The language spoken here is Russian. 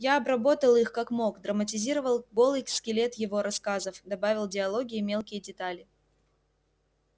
я обработал их как мог драматизировал голый скелет её рассказов добавил диалоги и мелкие детали